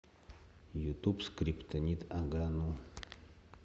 ютуб скриптонит ага ну